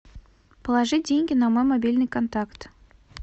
положи деньги на мой мобильный контакт